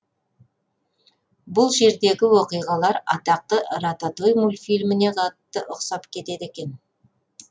бұл жердегі оқиғалар атақты рататуй мультфильміне қатты ұқсап кетеді екен